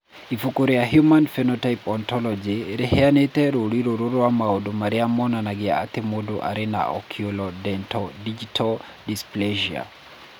Ibuku rĩa Human Phenotype Ontology rĩheanĩte rũũri rũrũ rwa maũndũ marĩa monanagia atĩ mũndũ arĩ na Oculodentodigital dysplasia.